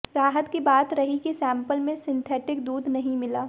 राहत की बात रही कि सैंपल में सिंथेटिक दूध नहीं मिला